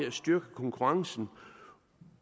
at styrke konkurrencen